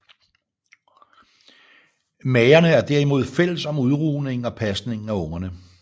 Magerne er derimod fælles om udrugningen og pasningen af ungerne